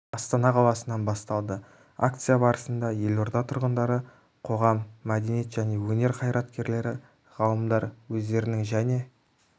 астана қаласынан басталды акция барысында елорда тұрындары қоғам мәдениет және өнер қайраткерлері ғалымдар өздерінің және